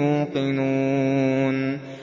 يُوقِنُونَ